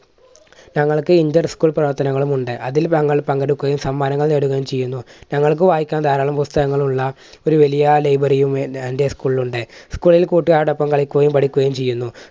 തങ്ങൾക്ക് inter school പ്രവർത്തനങ്ങളുമുണ്ട്. അതിൽ തങ്ങൾ പങ്കെടുക്കുകയും സമ്മാനങ്ങൾ നേടുകയും ചെയ്യുന്നു. തങ്ങൾക്ക് വായിക്കാൻ ധാരാളം പുസ്തകങ്ങൾ ഉള്ള ഒരു വലിയ library യും എൻറെ school ൽ ഉണ്ട്. school ൽ കൂട്ടുകാരോടൊപ്പം കളിക്കുകയും പഠിക്കുകയും ചെയ്യുന്നു.